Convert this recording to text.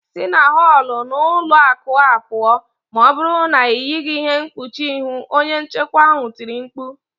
Si na họl n'ụlọ akụ a pụọ, ma ọ bụrụ na ị yịghị ihe mkpuchi ihu" onye nchekwa ahụ tiri mkpu